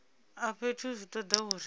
a fhethu zwi toda uri